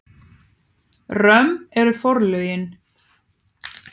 Römm eru forlögin.